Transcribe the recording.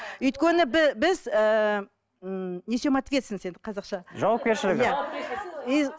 өйткені біз ыыы м несем ответственность енді қазақша жауапкершілігі иә